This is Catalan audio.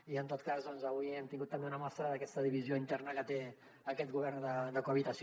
i en tot cas avui hem tingut també una mostra d’aquesta divisió interna que té aquest govern de cohabitació